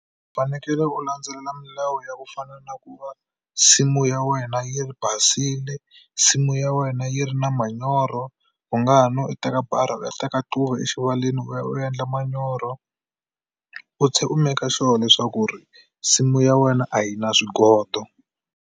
U fanekele u landzelela milawu ya ku fana na ku va nsimu ya wena yi ri basile nsimu ya wena yi ri na manyoro u nga ha no u teka barha u ya teka tluva exivaleni u ya u ya endla manyoro u u meka sure leswaku ri nsimu ya wena a yi na swigondo.